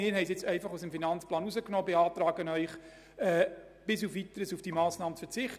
Wir beantragen Ihnen, bis auf Weiteres auf diese Massnahme zu verzichten.